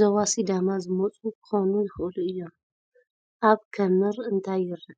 ዞባ ሲዳማ ዝመጹ ክኾኑ ይኽእሉ እዮም። ኣብ ክምር እንታይ የርኢ?